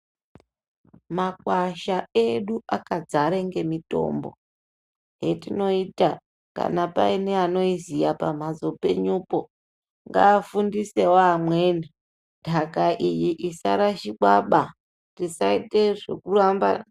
Makwasha edu akadzare ngemitombo, yetinoita kana paine anoiziya pamhatso penyupo ngaafundisewo amweni ntaka iyi isarashikwaba. Tisaita zvekuramba.